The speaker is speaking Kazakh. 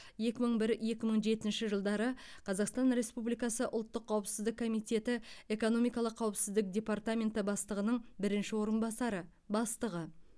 екі мың бір екі мың жетінші жылдары қазақстан республикасы ұлттық қауіпсіздік комитеті экономикалық қауіпсіздік департаменті бастығының бірінші орынбасары бастығы